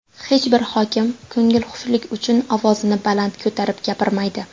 Hech bir hokim ko‘ngilxushlik uchun ovozini baland ko‘tarib gapirmaydi.